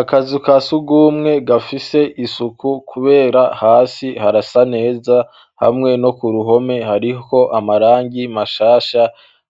akazu ka sugumwe gafise isuku kubera hasi harasa neza hamwe no kuruhome hariho amarangi mashasha